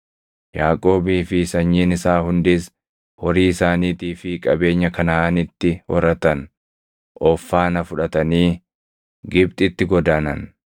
Yaaqoobii fi sanyiin isaa hundis horii isaaniitii fi qabeenya Kanaʼaanitti horatan of faana fudhatanii Gibxitti godaanan.